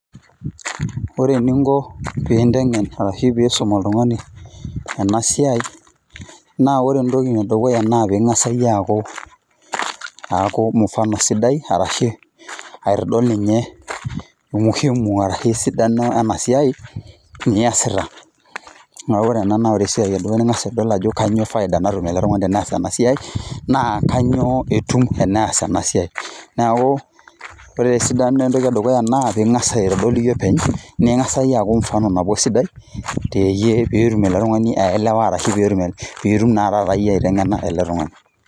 Ore eninko pinteng'en arashu pisum oltung'ani enasiai, naa ore entoki edukuya na ping'asa yie aaku, aaku mfano sidai, arashu aitodol ninye umuhimu arashu esidano enasiai, niasita. Neku ore ena ore esiai edukuya ning'asa adol ajo kanyioo faida natum ele tung'ani tenees enasiai, naa kanyioo etum tenees enasiai. Neeku, ore esidano entoki edukuya naa ping'asa aitodol iyie openy, ning'asa yie aku mfano nabo sidai, teyie petum ele tung'ani aelewa arashu pitum naa taata yie aiteng'ena ele tung'ani.